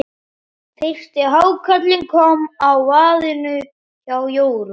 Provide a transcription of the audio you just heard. Fyrsti hákarlinn kom á vaðinn hjá Jórunni.